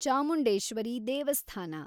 ಚಾಮುಂಡೇಶ್ವರಿ ದೇವಸ್ಥಾನ